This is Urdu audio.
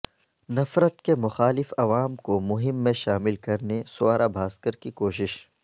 نفرت کے مخالف عوام کو مہم میں شامل کرنے سوارا بھاسکر کی کوشش